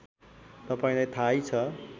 तपाईँलाई थाहै छ